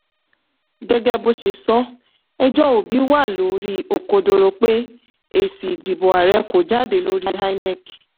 gẹ́gẹ́ bó ṣe sọ ẹjọ́ obi wà lórí òkodoro pé èsì ìdìbò ààrẹ kò jáde lórí inec.